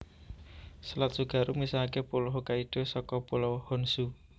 Selat Tsugaru misahaké Pulo Hokkaido saka Pulau Honshu